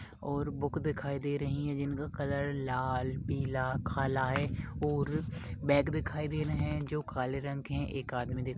और बुक दिखाई दे रही है जिनका कलर लाल पीला काला है और बॅग दिखाई दे रहे है जो काले रंग का है ओर एक आदमी दिखा--